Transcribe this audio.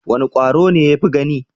Wane kwaro ne ya fi gani?